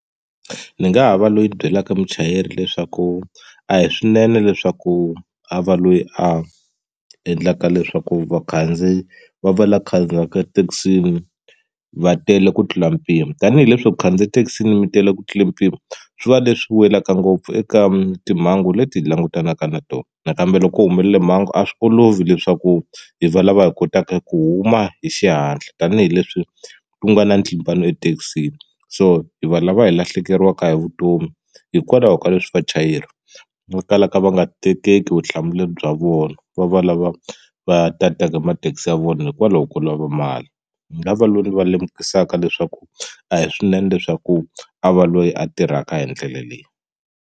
Ndzi nga ha va loyi ni byelaka muchayeri leswaku a hi swinene leswaku a va loyi a endlaka leswaku vakhandziyi va va lava khandziyaka thekisini va tele ku tlula mpimo tanihileswi ku khandziya thekisini mi tele ku tlula mpimo swi va leswi welaka ngopfu eka timhangu leti hi langutanaka na tona nakambe loko ku humelele mhangu a swi olovi leswaku hi valava hi kotaka ku huma hi xihatla tanihileswi ku nga na ntlimbano ethekisini so hi va lava hi lahlekeriwaka hi vutomi hikwalaho ka leswi vachayeri va kalaka va nga tekiki vutihlamuleri bya vona va va lava va tataka mathekisi ya vona hikwalaho ko lava mali ni nga va lweyi va lemukisaka leswaku a hi swinene leswaku a va loyi a tirhaka hi ndlela leyi.